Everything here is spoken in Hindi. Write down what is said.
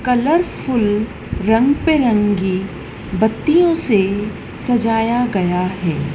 कलरफुल रंग बिरंगी बत्तियों से सजाया गया है।